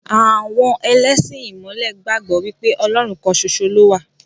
Àwọn ẹlẹ́sìn ìmọ̀le gbàgbọ́ wípé Ọlọ́run kan ṣoṣo lowa.